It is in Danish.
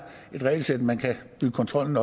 et regelsæt man kan bygge kontrollen